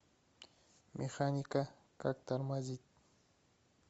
механика как тормозить